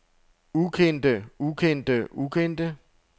ukendte ukendte ukendte